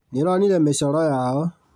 Nĩũronire mĩcoro yao?